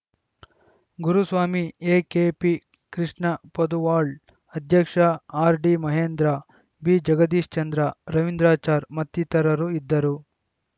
Guruswamy A K P Krishnapoduval ಅಧ್ಯಕ್ಷ R D Mahendra B Jagadishchandra Ravindrachar ಮತ್ತಿತರರು ಇದ್ದರು